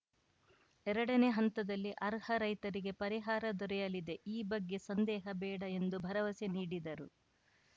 ಎರಡನೇ ಹಂತದಲ್ಲಿ ಅರ್ಹ ರೈತರಿಗೆ ಪರಿಹಾರ ದೊರೆಯಲಿದೆ ಈ ಬಗ್ಗೆ ಸಂದೇಹ ಬೇಡ ಎಂದು ಭರವಸೆ ನೀಡಿದರು